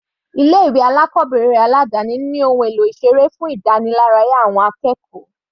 Ilé ìwé alákọ̀ọ́bẹ̀rẹ̀ aládáni ní ohun èlò ìseré fún ìdániláráyá àwọn akẹ́kọ̀ọ́.